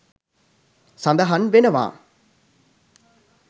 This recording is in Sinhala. සඳහන් වෙනවා